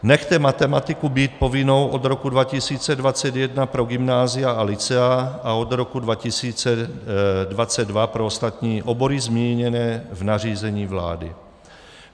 Nechte matematiku být povinnou od roku 2021 pro gymnázia a lycea a od roku 2022 pro ostatní obory zmíněné v nařízení vlády.